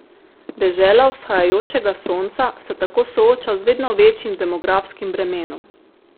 Dežela vzhajajočega sonca se tako sooča z vedno večjim demografskim bremenom.